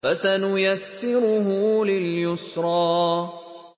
فَسَنُيَسِّرُهُ لِلْيُسْرَىٰ